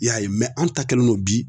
I y'a ye an ta kɛlen don bi